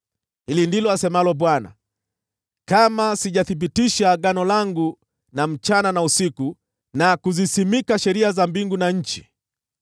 Hili ndilo asemalo Bwana : ‘Kama sijathibitisha agano langu na usiku na mchana, na kuziweka wakfu sheria za mbingu na nchi,